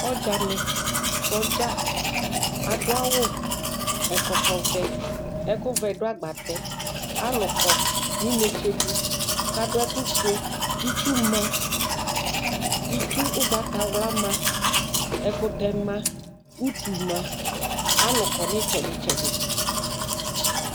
Ɔdzanɩ, sɔdza adʋ awʋ, ɛkɔtɔvɛ, ɛkʋvɛ dʋ agbatɛ, alʋ kɔ nʋ inetse dɩ kʋ adʋ ɛkʋfue, itsu ma Itsu ʋgbatawla ma, ɛkʋtɛ ma, utu ma, alʋ kɔ nʋ ɩtsɛdɩ-tsɛdɩ